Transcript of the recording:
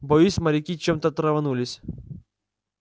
боюсь моряки чем-то траванулись